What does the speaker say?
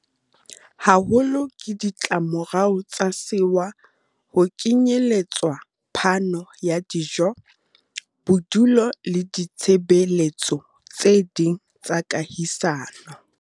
haholo ke ditlamorao tsa sewa, ho kenyeletswa phano ya dijo, bodulo le ditshebe letso tse ding tsa kahisano.